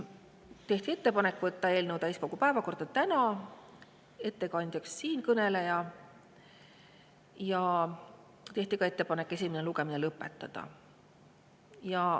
Tehti ettepanek võtta eelnõu täiskogu päevakorda täna, ettekandjaks siinkõneleja ja tehti ka ettepanek selle esimene lugemine lõpetada.